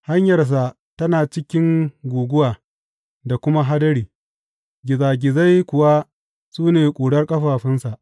Hanyarsa tana cikin guguwa da kuma hadari, gizagizai kuwa su ne ƙurar ƙafafunsa.